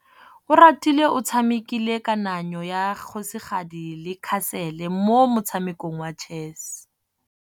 Oratile o tshamekile kananyô ya kgosigadi le khasêlê mo motshamekong wa chess.